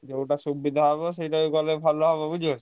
ଯୋଉଟା ସୁବିଧା ହବ ସେଇତ କଲେ ଭଲ ହବ ବୁଝିଲୁ କି?